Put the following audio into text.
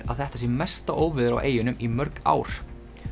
að þetta sé mesta óveður á eyjunum í mörg ár